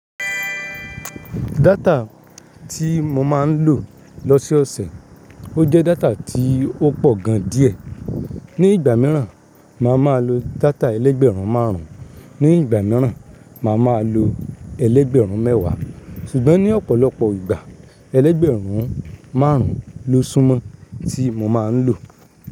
Data tí mo máa ń lò lọ́sọ̀ọ̀sẹ̀, ó jẹ́ data tí ó pọ̀ gan díẹ̀. Ni ìgbà mìíràn, màá máa lo data ẹlẹ́gbẹ̀rún márùn-ún, ní ìgbà mìíràn màá máa lo ẹlẹ́gbẹ̀rún mẹ́wàá. Ṣùgbọ́n ní ọ̀pọ̀lọpọ̀ ìgbà, ẹlẹ́gbẹ̀rún márùn-ún ló súmọ́ tí mo máa ń lò.